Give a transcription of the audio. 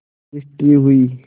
registry हुई